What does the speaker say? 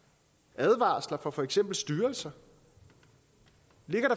advarsler fra for eksempel styrelser